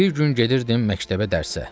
Bir gün gedirdim məktəbə dərsə.